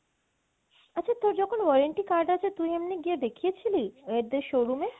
আচ্ছা তোর যখন warranty card আছে তুই এমনি গিয়ে দেখিয়েছিলি ওদের showroom এ?